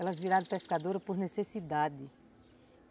Elas viraram pescadoras por necessidade.